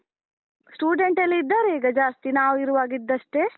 Student ಎಲ್ಲ ಇದ್ದಾರಾ ಈಗ ಜಾಸ್ತಿ, ನಾವು ಇರುವಾಗ ಇದ್ದಷ್ಟೆ?